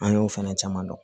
An y'o fɛnɛ caman dɔn